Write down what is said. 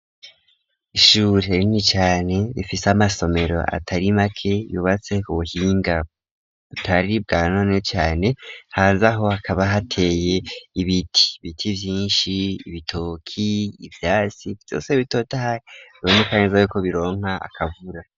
Ishure rinini cane rifise amasomero atari make yubatse ku buhinga butari bwanone cane hanzaho hakaba hateye ibiti, Ibiti vyishi ibitoki, ivyasi vyose bitotaha biboneka neza ko bironka akavura